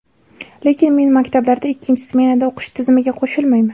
Lekin men maktablarda ikkinchi smenada o‘qish tizimiga qo‘shilmayman.